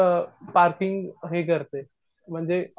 आपली आ पार्किंग हे करते म्हणजे